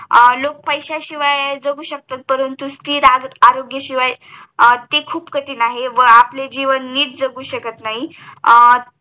लोक पैशाशिवाय जगू शाक्त परंतु स्तिर आरोग्य शिवाय ते खूप कठीण आहे व आपले जीवन नीट जगू शकत नाही